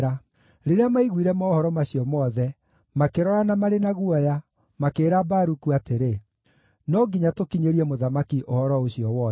Rĩrĩa maaiguire mohoro macio mothe, makĩrorana marĩ na guoya, makĩĩra Baruku atĩrĩ, “No nginya tũkinyĩrie mũthamaki ũhoro ũcio wothe.”